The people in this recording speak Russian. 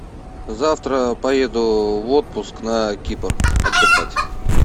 завтра поеду в отпуск на кипр отдыхать